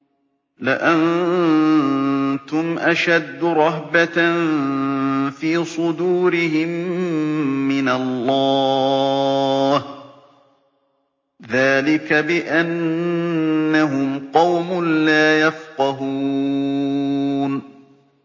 لَأَنتُمْ أَشَدُّ رَهْبَةً فِي صُدُورِهِم مِّنَ اللَّهِ ۚ ذَٰلِكَ بِأَنَّهُمْ قَوْمٌ لَّا يَفْقَهُونَ